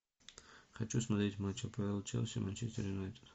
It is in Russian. хочу смотреть матч апл челси манчестер юнайтед